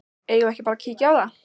Eigum við ekki bara að kíkja á það?